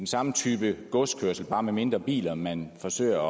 samme type godskørsel bare med mindre biler man forsøger